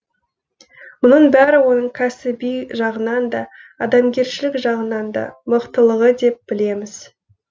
мұның бәрі оның кәсіби жағынан да адамгершілік жағынан да мықтылығы деп білеміз